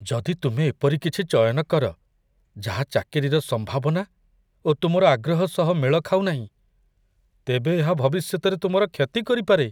ଯଦି ତୁମେ ଏପରି କିଛି ଚୟନ କର ଯାହା ଚାକିରିର ସମ୍ଭାବନା ଓ ତୁମର ଆଗ୍ରହ ସହ ମେଳ ଖାଉନାହିଁ, ତେବେ ଏହା ଭବିଷ୍ୟତରେ ତୁମର କ୍ଷତି କରିପାରେ।